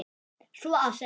Svo að segja.